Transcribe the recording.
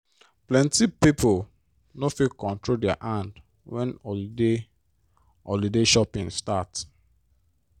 plenty pipo no fit control their hand when holiday holiday shopping start.